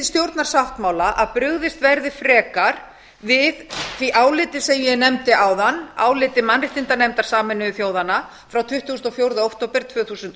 stjórnarsáttmála að brugðist verði frekar við því áliti sem ég nefndi áðan áliti mannréttindanefndar sameinuðu þjóðanna frá tuttugasta og fjórða október tvö þúsund og